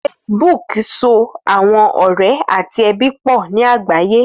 Facebook sọ̀ awọn ọrẹ̀ ati ẹbi pọ ni agbaye.